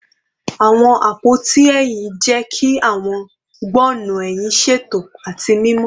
Awọn apoti ehín jẹ ki awọn gbọnnu ehin ṣeto ati mimọ